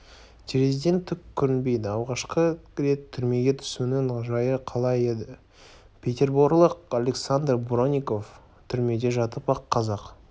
терезеден түк көрінбейді алғашқы рет түрмеге түсуінің жайы қалай еді петерборлық александр бронников түрмеде жатып-ақ қазақ